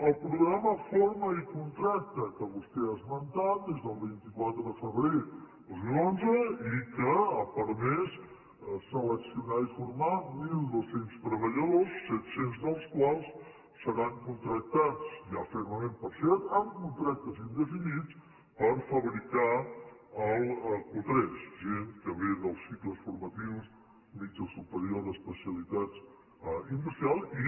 el programa forma i contracta que vostè ha esmentat des del vint quatre de febrer de dos mil onze i que ha permès seleccionar i formar mil dos cents treballadors set cents dels quals seran contractats ja fermament per seat amb contractes indefinits per fabricar el q3 gent que ve dels cicles formatius mitjà o superior especialitat industrial i